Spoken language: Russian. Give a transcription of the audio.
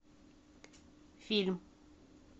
фильм